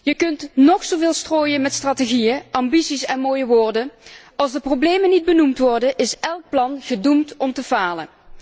Je kunt nog zo veel strooien met strategieën, ambities en mooie woorden, als de problemen niet benoemd worden, is elk plan gedoemd om te falen.